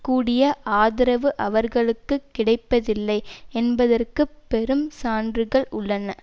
கூடிய ஆதரவு அவர்களுக்கு கிடைப்பதில்லை என்பதற்கு பெரும் சான்றுகள் உள்ளன